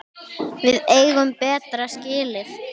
Við eigum betra skilið.